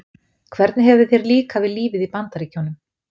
Hvernig hefur þér líkað við lífið í Bandaríkjunum?